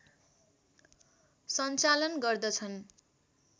सञ्चालन गर्दछ्न्